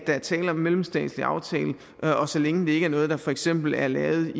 er tale om en mellemstatslig aftale og så længe det ikke er noget der for eksempel er lavet